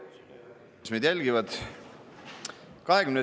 Head kolleegid ja kõik, kes meid jälgivad!